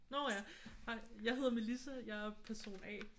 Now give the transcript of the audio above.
Nå ja! Jeg hedder Melissa. Jeg er person A